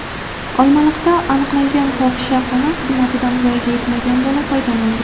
Olmaliqda aniqlangan fohishaxona xizmatidan voyaga yetmagan bola foydalandi.